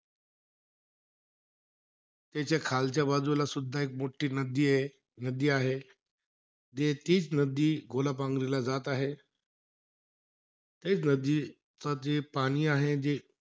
त्याच्या खालच्या बाजूलासुद्धा एक मोठी नदीयं नदी आहे. तेच नदी गोलापांगरीला जात आहे. तेच नदीचं जे पाणी आहे जे,